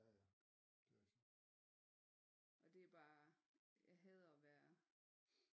Og det er bare jeg hader at være